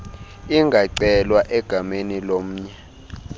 ingacelwa egameni lomnye